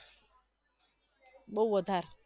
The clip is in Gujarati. બવ વધારે